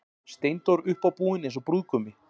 Steindór uppábúinn eins og brúðgumi.